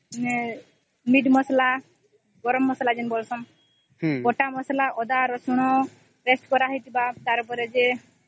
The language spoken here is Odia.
meat ମସଲା ଗରମ ମସଲା ବଟା ମସଲା ଯେମିତି ଅଦା ରସୁଣ ପେଷ୍ଟ କରାହେଇଥିବା ତାର ପରେ ଯେ